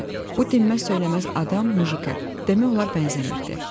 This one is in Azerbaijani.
Bu dinməz-söyləməz adam mujikə demək olar bənzəmirdi.